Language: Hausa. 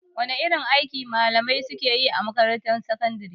Wane irin aiki malamai suke yi a makarantar sakandare?